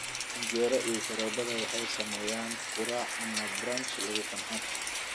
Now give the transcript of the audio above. Canjeero iyo sharoobada waxay sameeyaan quraac ama brunch lagu qanco.